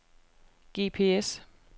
GPS